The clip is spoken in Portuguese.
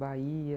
Bahia.